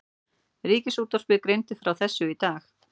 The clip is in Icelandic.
Ríkisútvarpið greindi frá þessu í dag